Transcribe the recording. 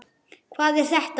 Hvað er þetta?